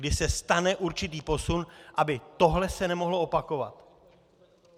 Kdy se stane určitý posun, aby se tohle nemohlo opakovat.